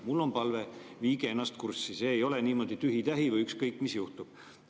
Mul on palve: viige ennast kurssi, see ei ole niimoodi tühi-tähi või ükskõik, mis juhtub.